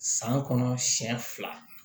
San kɔnɔ siɲɛ fila